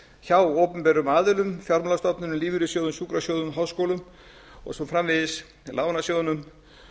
hjá opinberum aðilum fjármálastofnunum lífeyrissjóðum sjúkrasjóðum háskólum og svo framvegis lánasjóðnum